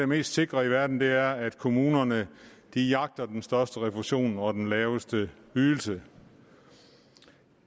mest sikre i verden er at kommunerne jagter den største refusion og den laveste ydelse